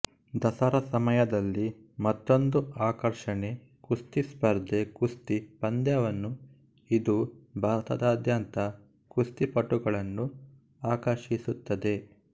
ದಸರಾ ಸಮಯದಲ್ಲಿ ಮತ್ತೊಂದು ಆಕರ್ಷಣೆ ಕುಸ್ತಿ ಸ್ಪರ್ದೆ ಕುಸ್ತಿ ಪಂದ್ಯವನ್ನು ಇದು ಭಾರತದಾದ್ಯಂತ ಕುಸ್ತಿಪಟುಗಳನ್ನು ಆಕರ್ಷಿಸುತ್ತದೆ